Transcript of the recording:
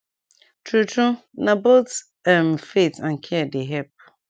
tru tru na both um faith and care dey epp